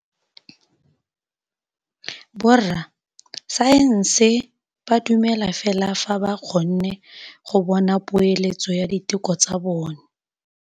Borra saense ba dumela fela fa ba kgonne go bona poeletsô ya diteko tsa bone.